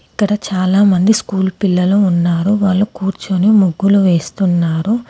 ఇక్కడ చాలామంది స్కూల్ పిల్లలు ఉన్నారు వాళ్ళు కూర్చుని ముగ్గులు వేస్తున్నారు.